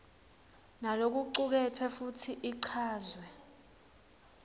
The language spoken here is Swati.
nalokucuketfwe futsi ichazwe